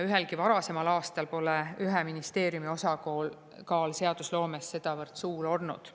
Ühelgi varasemal aastal pole ühe ministeeriumi osakaal seadusloomes sedavõrd suur olnud.